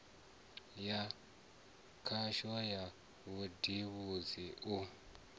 ya khasho ya vhubindudzi u